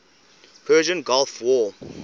persian gulf war